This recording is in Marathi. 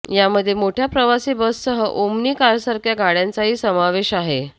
यामध्ये मोठय़ा प्रवासी बससह ओमनी कारसारख्या गाडय़ांचाही समावेश आहे